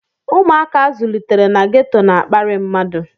Ụmụaka a zụlitere na ghetọ na-akparị mmadụ.